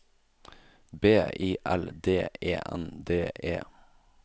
B I L D E N D E